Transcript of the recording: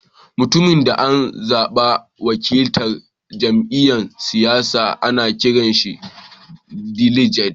Mutumin da an zaba dan wakiltar da jami'yyan siyasa ana kiran shi "diliget."